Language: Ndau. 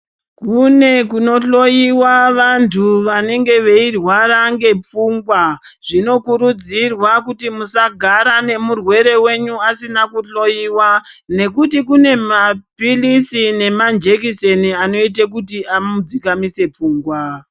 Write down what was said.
Kune kuno hloyiwa vantu vanenge veirwara ngepfungwa. Zvino kurudzirwa kuti musagara nemurwere wenyu asina kuhloyiwa nekuti kune maphilizi nemanjekisheni anoite kuti amu dzikamise pfungwa.